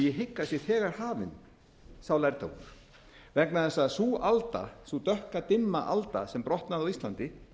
hygg að sá lærdómur sé þegar hafinn vegna þess að sú alda sú dökka dimma alda sem brotnaði á íslandi